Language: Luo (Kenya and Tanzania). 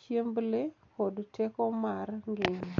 chiemb le, kod teko mar ngima.